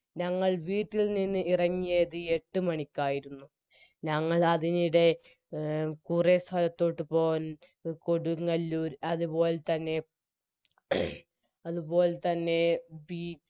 ഞങ്ങൾ വീട്ടിൽ നിന്ന് ഇറങ്ങിയത് എട്ടുമണിക്കായിരുന്നു ഞങ്ങളതിനിടെ എ കുറെ സ്ഥലത്തോട്ട് പോകാൻ കൊടുങ്ങല്ലൂർ അതുപോലതന്നെ അതുപോലതന്നെ ബി